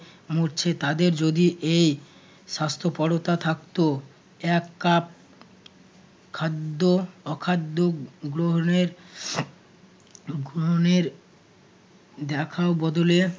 মরছে তাদের যদি এই স্বাস্থ্যপরতা থাকতো এক কাপ খাদ্য অখাদ্য গ্রহণের গ্রহণের দেখাও বদলে